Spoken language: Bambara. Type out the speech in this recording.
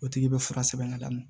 O tigi bɛ fura sɛbɛn ka d'a ma